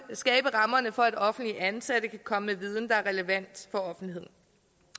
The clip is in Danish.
skabe rammerne for at offentligt ansatte kan komme med viden der er relevant for offentligheden